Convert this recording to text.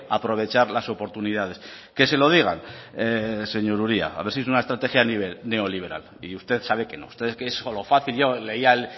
aprovechar las oportunidades que se lo digan señor uria a ver si es una estrategia neoliberal y usted sabe que no que usted es solo fácil yo leía